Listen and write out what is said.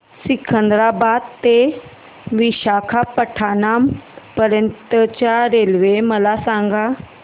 सिकंदराबाद ते विशाखापट्टणम पर्यंत च्या रेल्वे मला सांगा